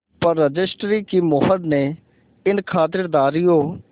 पर रजिस्ट्री की मोहर ने इन खातिरदारियों